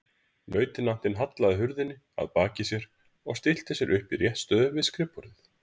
Lautinantinn hallaði hurðinni að baki sér og stillti sér upp í réttstöðu við skrifborðið.